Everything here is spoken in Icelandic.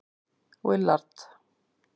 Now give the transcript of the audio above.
Willard